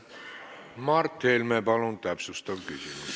Mart Helme, palun täpsustav küsimus!